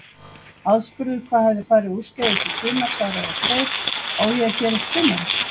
Aðspurður hvað hefði farið úrskeiðis í sumar svaraði Freyr: Á ég að gera upp sumarið?